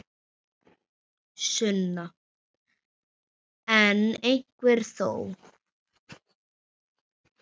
Sunna: En einhver þó?